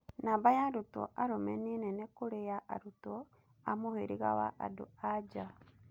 Namba ya arutwo arũme nĩ nene kũrĩ ya arutwo a mũhĩrĩga wa andũ-a-nja.